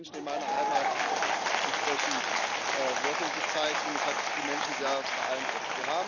Das hat auch bei den Menschen in meiner Heimat entsprechend Wirkung gezeigt, und es hat die Menschen sehr beeindruckt.